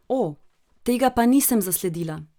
O, tega pa nisem zasledila.